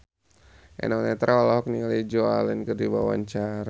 Eno Netral olohok ningali Joan Allen keur diwawancara